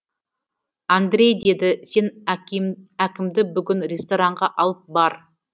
андрей деді сен әкімді бүгін ресторанға алып бар